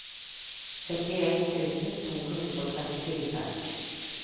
syttien tusen to hundre og trettifire